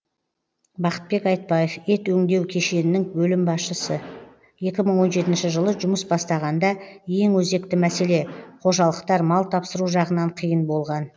бақытбек айтбаев ет өңдеу кешенінің бөлім басшысы екі мың он жетінші жылы жұмыс бастағанда ең өзекті мәселе қожалықтар мал тапсыру жағынан қиын болған